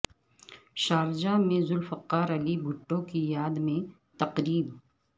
Sharjah میں Zulfikar Ali Bhutto کی یاد میں تقریب